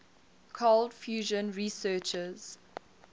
cold fusion researchers